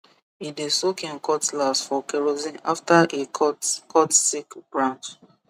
e dey soak him cutlass for kerosene after e cut cut sick branch